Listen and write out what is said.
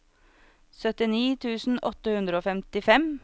syttini tusen åtte hundre og femtifem